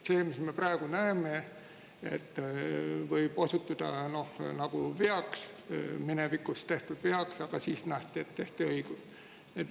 See, mis me praegu näeme, võib osutuda veaks, minevikus tehtud veaks, aga siis nähti, et tehti õigesti.